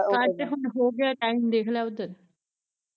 ਕੱਟ ਹੁਣ ਹੋਗਿਆ ਟਾਈਮ ਦੇਖਲੇ ਓਧਰ